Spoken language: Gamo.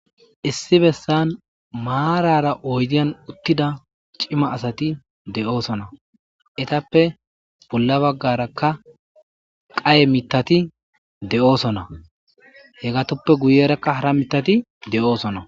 issi bessan maarara oydiyan uttida cima asati de7oosona etappe bolla baggarakka qaye mitati de7oosona he gatoppe guyerakka hara mitati de7oosona